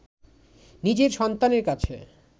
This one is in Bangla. নিজের সন্তানের কাছে